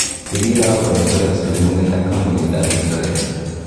ibiro agoba insurance neguget ak kanbuniit nebo insurance